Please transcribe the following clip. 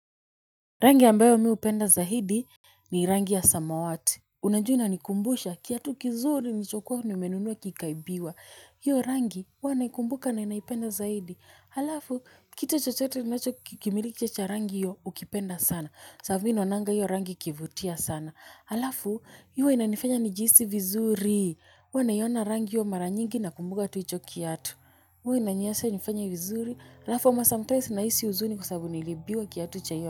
Rangi ambayo mi hupenda zaidi ni rangi ya samawati. Unajua inanikumbusha, kiatu kizuri, nilichokua nimenunua kikaibiwa. Hiyo rangi, hua naikumbuka na naipenda zaidi. Halafu, kitu chochote ninacho kimiliki cha rangi hio, hukipenda sana. Sababu mi naonanga hiyo rangi ikivutia sana. Halafu, huwa inanifanya nijihisi vizuri. Huwa naiona rangi hio mara nyingi nakumbuka tu hicho kiatu. Huwa inaniacha nifanye vizuri. Halafu, ama sometimes nahisi huzuni kwasababu niliibiwa kiatu cha hio.